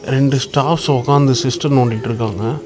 ரெண்டு ஸ்டாப்ஃஸ் ஒக்காந்து சிஸ்டம் நோண்டிட்டுருக்காங்க.